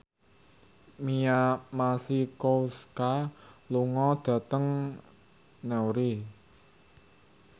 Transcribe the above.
Mia Masikowska lunga dhateng Newry